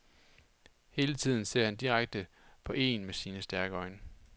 Hele tiden ser han direkte på een med sine stærke øjne.